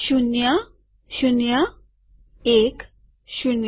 શૂન્યશૂન્યએકશૂન્ય